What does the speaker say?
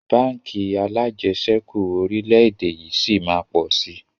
Báńkì alajẹsẹ́kù orílédé yìí sí máa pọ̀ si